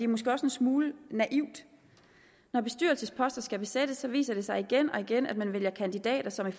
måske også en smule naivt når bestyrelsesposter skal besættes viser det sig igen og igen at man vælger kandidater som i